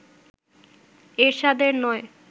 এরশাদের নয়